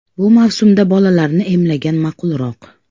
Bu mavsumda bolalarni emlagan ma’qulroq.